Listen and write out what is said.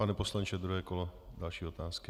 Pane poslanče, druhé kolo, další otázky.